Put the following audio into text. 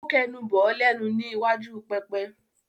Ó kẹnu bọ̀ ọ́ lẹ́nu ní iwájú pẹpẹ?